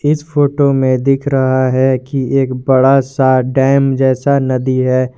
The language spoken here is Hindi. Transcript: इस फोटो में दिख रहा है कि एक बड़ा सा डैम जैसा नदी है।